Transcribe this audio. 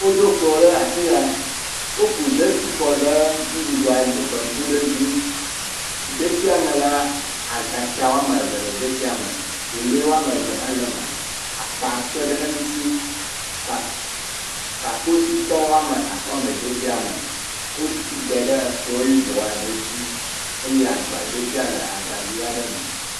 Woɖo kplɔ̃ ɖe afi ya. Woku detsi kɔ ɖe nuɖuɖua baŋku ɖe dzi. Detsia me la, agatsa wo ame eve le detsia me, welé ame eve hã le eme, akpa kpe ɖe eŋuti. Kpa kpakposhitɔ ame atɔ̃ le detsiame. Wodɛ ɖe ekplɔ̃ yibɔ aɖe dzi eye agbadetsi le agbavi aɖe me.